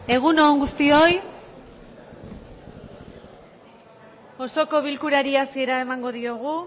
egun on guztioi osoko bilkurari hasiera emango diogu